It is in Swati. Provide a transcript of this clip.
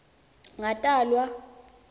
ngatalwa